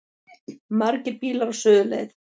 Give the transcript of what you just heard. Margir bílar á suðurleið